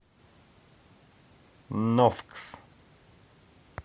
нофкс